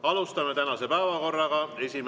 Alustame tänaste päevakorra.